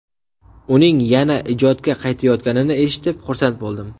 Uning yana ijodga qaytayotganini eshitib, xursand bo‘ldim.